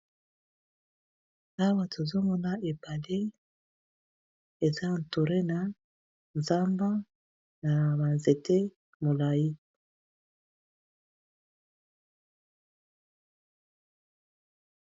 Awa tozomona ebale eza entouré n'a nzamba n'aba nzete mulay